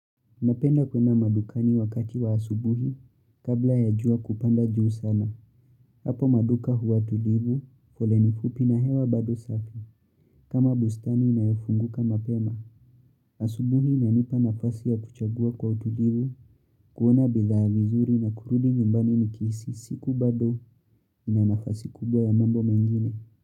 Napenda kwenda madukani wakati wa asubuhi, kabla ya jua kupanda juu sana. Hapo maduka huwa tulivu, foleni fupi na hewa bado safi. Kama bustani inayofunguka mapema. Asubuhi inanipa nafasi ya kuchagua kwa tulivu, kuona bidhaa mizuri na kurudi nyumbani nikihisi siku bado ina nafasi kubwa ya mambo mengine.